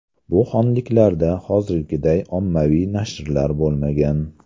Bu xonliklarda hozirgiday ommaviy nashrlar bo‘lmagan.